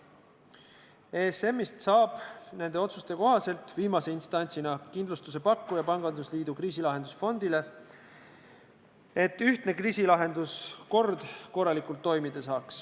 ESM-ist saab nende otsuste kohaselt viimase instantsina kindlustusepakkuja pangandusliidu kriisilahendusfondile, et ühtne kriisilahenduskord saaks korralikult toimida.